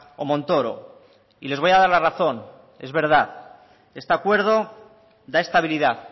o montoro y les voy a dar la razón es verdad este acuerdo da estabilidad